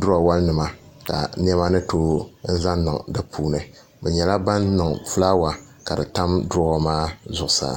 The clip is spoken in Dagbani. duroowa nima ka niɛma ni tooi zaŋ niŋ di puuni bi nyɛla ban niŋ fulaawa ka di tam duroowa maa zuɣusaa